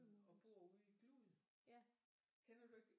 Og bor ude i Glud kender du ikke